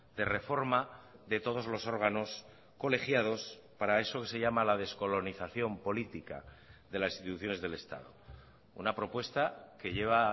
de reforma de todos los órganos colegiados para eso que se llama la descolonización política de las instituciones del estado una propuesta que lleva